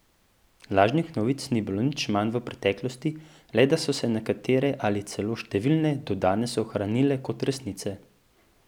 Lažnih novic ni bilo nič manj v preteklosti, le da so se nekatere ali celo številne do danes ohranile kot resnice.